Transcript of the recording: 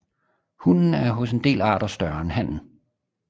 Hunnen er hos en del arter større end hannen